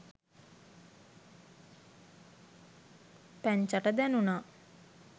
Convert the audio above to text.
පැංචට දැණුනා